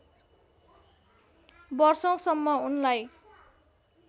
वषौँसम्म उनलाई